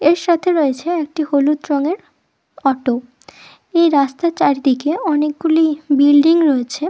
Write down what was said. এর সাথে রয়েছে একটি হলুদ রঙের অটো এই রাস্তার চারদিকে অনেকগুলি বিল্ডিং রয়েছে--